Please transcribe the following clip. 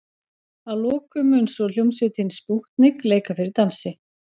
Að lokum mun svo hljómsveitin Spútnik leika fyrir dansi.